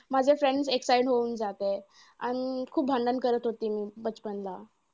माझे friend excite होऊन जाते. आणि खूप भांडण करत होती मी ला.